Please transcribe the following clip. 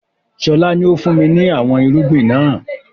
Sọlá ni ó fun mi ni àwọn irúgbìn náà